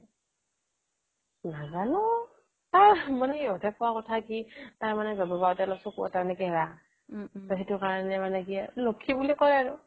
নাজানো তাৰ মানে ইহতে কি কোৱা কথা কি তাৰ জন্মতে মানে চকু এটা মানে কেৰা টো সেইটো কাৰনে মানে কি লক্ষী বুলি কয় আৰু